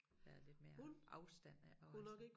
Være lidt mere afstand ik og altså